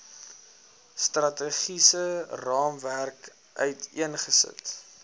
strategiese raamwerk uiteengesit